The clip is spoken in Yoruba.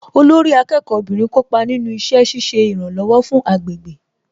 Olórí akẹ́kọ̀ọ́ obìnrin kópa nínú iṣẹ́ ṣiṣẹ́ ìrànlọ̀wọ̀ fún agbègbè